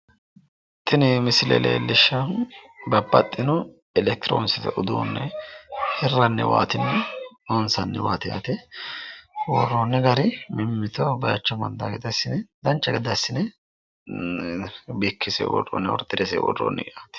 Tini misilete leellishaahu babbaxxino elekitiroonikisete uduunne hirranniwaati loonsanniwaati yaate. worronni gari mimmitoho baayiicho amaxxaa gede assine, dancha gede assine irkkinse orderete worroonni.